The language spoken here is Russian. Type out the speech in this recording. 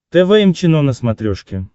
тэ вэ эм чено на смотрешке